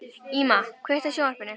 Íma, kveiktu á sjónvarpinu.